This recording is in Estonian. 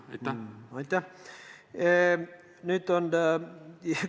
Aitäh!